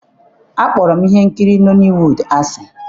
Akpọrọ m ihe nkiri Nọliwuud asị.